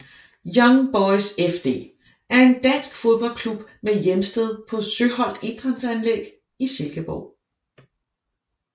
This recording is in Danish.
Young Boys FD er en dansk fodboldklub med hjemsted på Søholt Idrætsanlæg i Silkeborg